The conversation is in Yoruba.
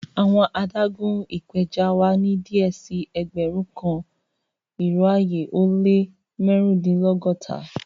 Awọn àdàgún ìpẹjọ wa ni díẹ̀ sí ẹgbérùn kan irò ayé o le màrundinlọ́gọ́ta